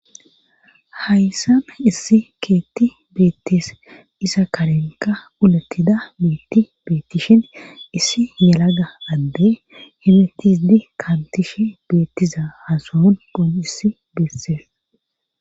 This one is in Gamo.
hayssana issi keetti beettees iza karenka ulattida miitti beettishen issi yelaga adde hemetidi kaantishe beettiza ha sunqon issi beessees